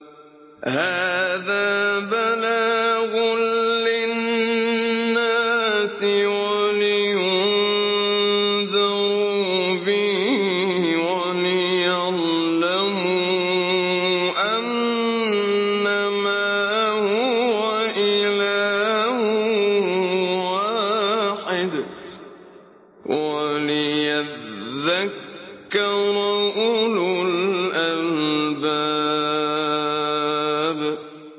هَٰذَا بَلَاغٌ لِّلنَّاسِ وَلِيُنذَرُوا بِهِ وَلِيَعْلَمُوا أَنَّمَا هُوَ إِلَٰهٌ وَاحِدٌ وَلِيَذَّكَّرَ أُولُو الْأَلْبَابِ